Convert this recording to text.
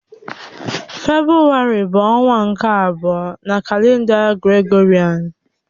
Febrụwarị bụ ọnwa nke abụọ na kalenda Gregorịan.